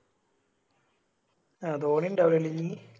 ധോണിണ്ടാവൂലെ ഇന്നിനി